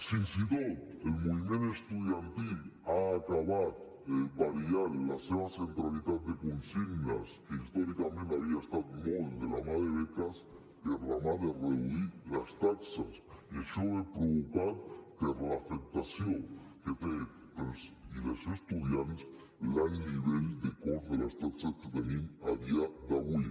fins i tot el moviment estudiantil ha acabat variant la seva centralitat de consignes que històricament havia anat molt de la mà de beques per demanar reduir les taxes i això ve provocat per l’afectació que té per als i les estudiants l’alt nivell de cost de les taxes que tenim a dia d’avui